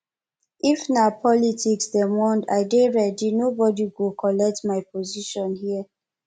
if na politics dem want i dey ready nobodi go collect my position here